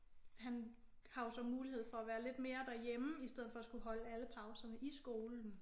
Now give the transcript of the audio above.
Han har jo så mulighed for at være lidt mere derhjemme i stedet for at skulle holde alle pauserne i skolen